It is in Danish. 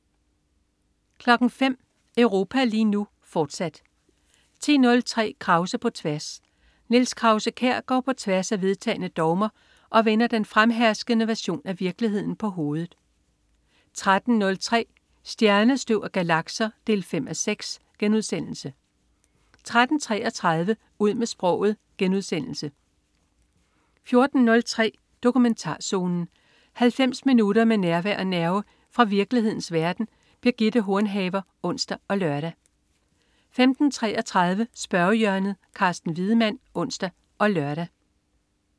05.00 Europa lige nu, fortsat 10.03 Krause på tværs. Niels Krause-Kjær går på tværs af vedtagne dogmer og vender den fremherskende version af virkeligheden på hovedet 13.03 Stjernestøv og galakser 5:6* 13.33 Ud med sproget* 14.03 Dokumentarzonen. 90 minutter med nærvær og nerve fra virkelighedens verden. Birgitte Hornhaver (ons og lør) 15.33 Spørgehjørnet. Carsten Wiedemann (ons og lør)